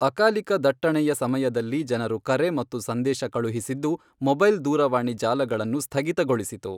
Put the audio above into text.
ಅಕಾಲಿಕ ದಟ್ಟಣೆಯ ಸಮಯದಲ್ಲಿ ಜನರು ಕರೆ ಮತ್ತು ಸಂದೇಶ ಕಳುಹಿಸಿದ್ದು ಮೊಬೈಲ್ ದೂರವಾಣಿ ಜಾಲಗಳನ್ನು ಸ್ಥಗಿತಗೊಳಿಸಿತು.